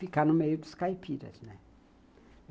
Ficar no meio dos caipiras, né?